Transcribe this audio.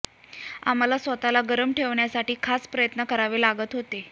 आम्हाला स्वतःला गरम ठेवण्यासाठी खास प्रयत्न करावे लागत होते